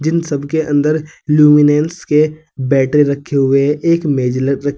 जिन सबके अंदर लुमिनेंस के बैटरी रखे हुए हैं। एक मेज ल रख --